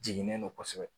Jiginnen don kosɛbɛ